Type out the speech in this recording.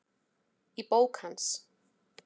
Í bók hans